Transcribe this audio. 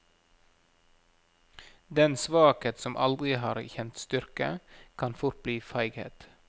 Den svakhet som aldri har kjent styrke, kan fort bli feighet.